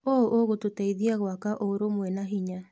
ũũ ũgũtũteithia gwaka ũrũmwe na hinya.